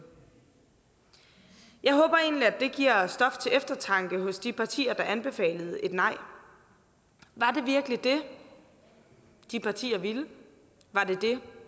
jeg håber egentlig at det giver stof til eftertanke hos de partier der anbefalede et nej var det virkelig det de partier ville var det det